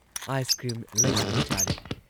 Ice cream ꯂꯩꯗꯨꯅ ꯆꯥꯔꯦ ꯫